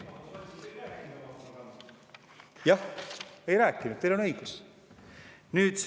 Jah, ei rääkinud, teil on õigus.